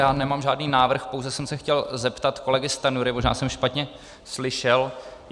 Já nemám žádný návrh, pouze jsem se chtěl zeptat kolegy Stanjury, možná jsem špatně slyšel.